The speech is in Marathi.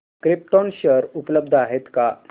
क्रिप्टॉन शेअर उपलब्ध आहेत का